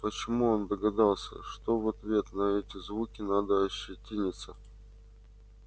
почему он догадался что в ответ на эти звуки надо ощетиниться